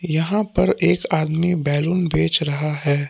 यहां पर एक आदमी बैलून बेच रहा है।